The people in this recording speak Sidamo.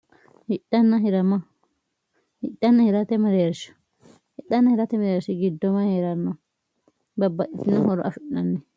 hhidhaanna hirate mi'reershi giddoma hee'ranno babbahitino horo afi'nanni